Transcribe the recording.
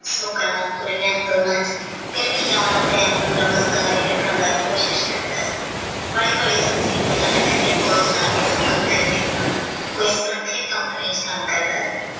ਕੁਝ ਗੱਲਾਂ ਤੋਰਿਆ ਦੋਨਾਂ ਵਿੱਚ ਫੇਰ ਵੀ John ਸਮਝਦਾਰੀ ਰੱਖਣ ਦਾ ਕੋਸ਼ਿਸ਼ ਕਰਦਾ ਹੈ ਹੋਲੀ ਹੋਲੀ Soji ਨੂੰ ਪਤਾ ਲੱਗਿਆ ਕੀ ਫੌਜ ਨਾਲ ਕੋਈ ਹੈ ਤੇ ਕੋਈ ਸਾਖੀ Company ਵਿੱਚ ਕੰਮ ਕਰਦਾ ਹੈ।